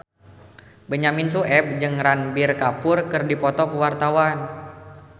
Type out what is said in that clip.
Benyamin Sueb jeung Ranbir Kapoor keur dipoto ku wartawan